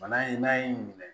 Bana in n'a y'i minɛ